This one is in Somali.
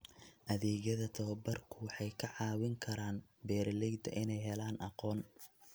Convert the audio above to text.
Adeegyada tababarku waxay ka caawin karaan beeralayda inay helaan aqoon.